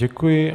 Děkuji.